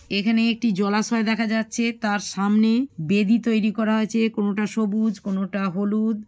এখানে একটি জলাশয় দেখা যাচ্ছে। তার সামনে বেদী তৈরী করা আছে। কোনটা সবুজ কোনটা হলুদ।